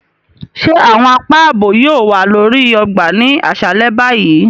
Ṣe awọn àpá ààbò yóò wà lórí ọgbà ni aṣalẹ báyìí?